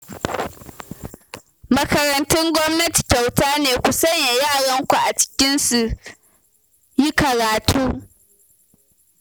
Makarantun gwamnati kyauta ne, ku sanya yaranku a ciki su yi karatu